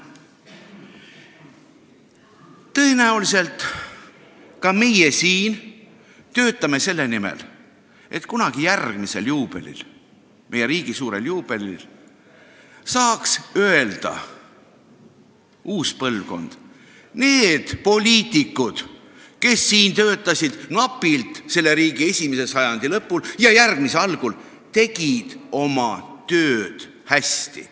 Tõenäoliselt ka meie siin töötame selle nimel, et kunagi meie riigi järgmisel suurel juubelil saaks uus põlvkond öelda: need poliitikud, kes siin töötasid napilt selle riigi esimese sajandi lõpul ja järgmise algul, tegid oma tööd hästi.